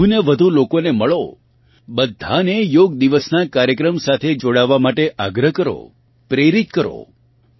વધુને વધુ લોકોને મળો બધાને યોગ દિવસનાં કાર્યક્રમ સાથે જોડાવા માટે આગ્રહ કરો પ્રેરિત કરો